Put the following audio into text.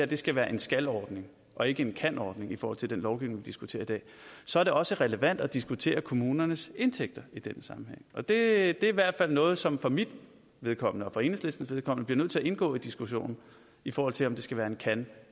det skal være en skal ordning og ikke en kan ordning i forhold til den lovgivning vi diskuterer i dag så er det også relevant at diskutere kommunernes indtægter i den sammenhæng det er i hvert fald noget som for mit vedkommende og for enhedslistens vedkommende bliver nødt til at indgå i diskussionen i forhold til om det skal være en kan